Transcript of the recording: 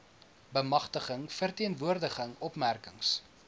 bemagtiging verteenwoordiging opmerkings